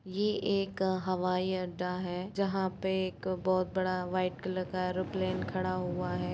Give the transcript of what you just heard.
ये एक अ हवाई अड्डा है जहाँ पे एक बहुत बड़ा व्हाइट कलर का ऐरोप्लेन खड़ा हुआ है।